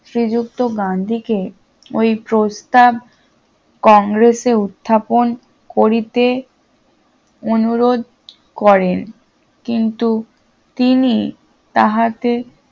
শ্রীযুক্ত গান্ধীকে ওই প্রস্তাব কংগ্রেসে উত্থাপন করিতে অনুরোধ করেন কিন্তু তিনি তাহাতে